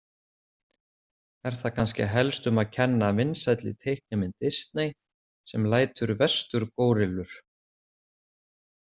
Er þar kannski helst um að kenna vinsælli teiknimynd Disney sem lætur vesturgórillur.